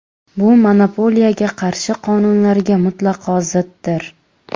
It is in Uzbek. Bu monopoliyaga qarshi qonunlarga mutlaqo ziddir.